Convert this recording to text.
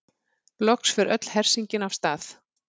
Loks fer öll hersingin af stað.